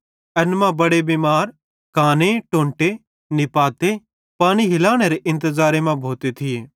एन मां बड़े बिमार काने टोंटे नीपाते पानी हीलनेरे इंतज़ारे मां भोते थिये